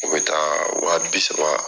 U bɛ taa waa bisaba